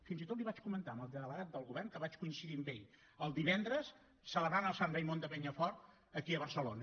fins i tot l’hi vaig comentar al delegat del govern que vaig coincidir amb ell el divendres celebrant el sant raimon de penyafort aquí a barcelona